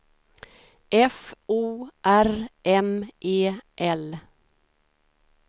F O R M E L